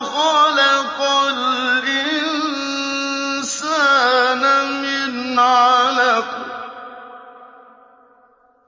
خَلَقَ الْإِنسَانَ مِنْ عَلَقٍ